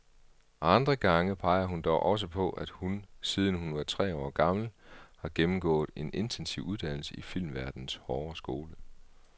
Andre gange peger hun dog også på, at hun, siden hun var tre år gammel, har gennemgået en intensiv uddannelse i filmverdenens hårde skole.